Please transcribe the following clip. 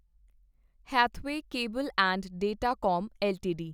Hathway cable and datacom LTD